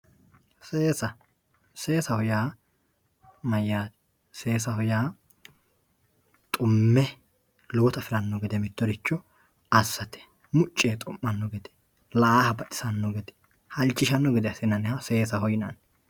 seesa seesaho yaa mayaate seesaho yaa dhumme lowota afiranno gede mittoricho assate mucci yee dhu'manno gede la"aaha baxisanno gede halchishanno gede assinanniha seesaho yinanni.